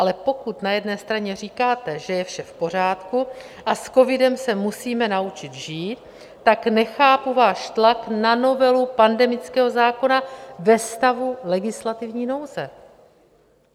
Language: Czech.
Ale pokud na jedné straně říkáte, že je vše v pořádku a s covidem se musíme naučit žít, tak nechápu váš tlak na novelu pandemického zákona ve stavu legislativní nouze.